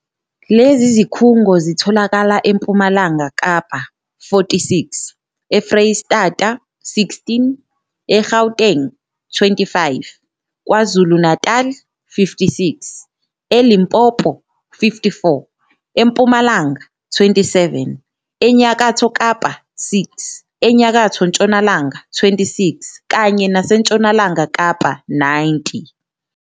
Lezi zikhungo zitholakala eMpumalanga Kapa, 46, eFreyistata, 16, e-Gauteng, 25, KwaZulu-Natali, 56, e-Limpopo, 54, eMpumalanga, 27, eNyakatho Kapa, 6, eNyakatho Ntshonalanga, 26, kanye naseNtshonalanga Kapa, 90.